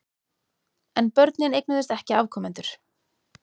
En börnin eignuðust ekki afkomendur.